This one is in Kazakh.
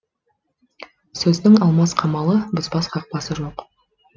сөздің алмас қамалы бұзбас қақпасы жоқ